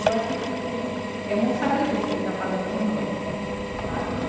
Eu acho que que é muito sacrifício o que ele está fazendo por nós, sabe?